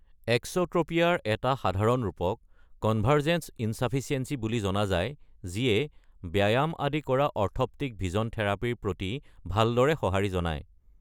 এক্স’ট্ৰপিয়াৰ এটা সাধাৰণ ৰূপক কনভাৰ্জেন্স ইনচাফিচিয়েন্সি বুলি জনা যায় যিয়ে ব্যাম আদি কৰা অৰ্থপ্টিক ভিজন থেৰাপীৰ প্ৰতি ভালদৰে সঁহাৰি জনায়।